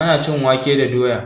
Ana iya cin wake da doya